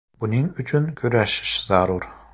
Buning uchun kurashish zarur.